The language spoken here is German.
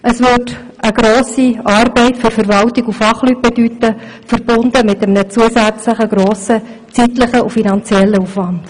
Es würde eine grosse Arbeit für die Verwaltung und die Fachleute bedeuten, verbunden mit einem grossen zeitlichen und finanziellen Aufwand.